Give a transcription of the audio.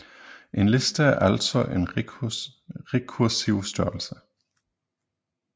En liste er altså en rekursiv størrelse